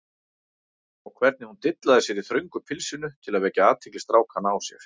Og hvernig hún dillaði sér í þröngu pilsinu til að vekja athygli strákanna á sér!